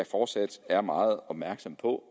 fortsat er meget opmærksomme på